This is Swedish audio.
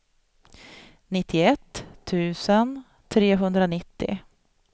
nittioett tusen trehundranittio